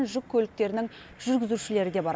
жүк көліктерінің жүргізушілері де бар